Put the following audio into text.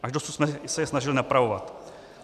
Až dosud jsme se je snažili napravovat.